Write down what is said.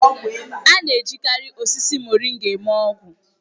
A na-ejikarị osisi Moringa eme ọgwụ.